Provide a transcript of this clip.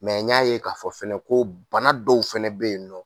Mɛ n y'a ye k'a fɔ fɛnɛ ko bana dɔw fana bɛ yen nɔ